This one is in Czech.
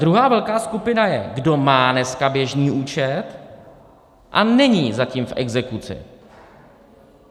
Druhá velká skupina je, kdo má dneska běžný účet a není zatím v exekuci.